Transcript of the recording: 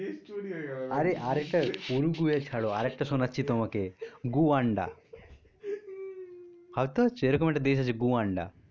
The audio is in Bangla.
দেশ তৈরী হয়ে গেলো